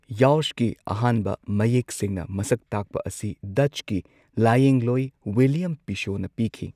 ꯌꯥꯎꯁꯀꯤ ꯑꯍꯥꯟꯕ ꯃꯌꯦꯛ ꯁꯦꯡꯅ ꯃꯁꯛ ꯇꯥꯛꯄ ꯑꯁꯤ ꯗꯠꯆꯀꯤ ꯂꯥꯌꯦꯡꯂꯣꯏ ꯋꯤꯜꯂꯦꯝ ꯄꯤꯁꯣꯅ ꯄꯤꯈꯤ꯫